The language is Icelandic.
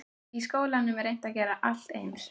Í skólum er reynt að gera alla eins.